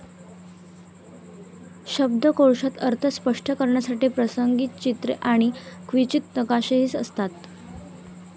शब्दकोशात अर्थ स्पष्ट करण्यासाठी प्रसंगी चित्रे आणि क्वचित नकाशेही असतात